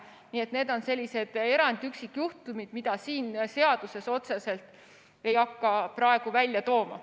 Nii et need on sellised erandid, üksikjuhtumid, mida selles seaduses ei hakata otseselt välja tooma.